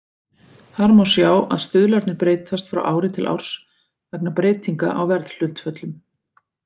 Þar má sjá að stuðlarnir breytast frá ári til árs vegna breytinga á verðhlutföllum.